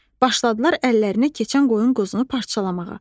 Başladılar əllərinə keçən qoyun quzunu parçalamağa.